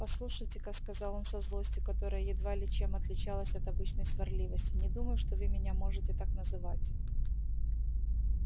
послушайте-ка сказал он со злостью которая едва ли чем отличалась от обычной сварливости не думаю что вы меня можете так называть